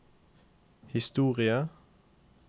historie